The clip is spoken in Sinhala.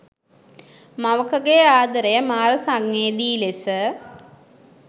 මවකගේ ආදරය මාර සංවේදී ලෙස